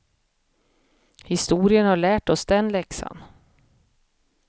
Historien har lärt oss den läxan.